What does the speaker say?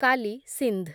କାଲି ସିନ୍ଧ୍